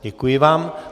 Děkuji vám.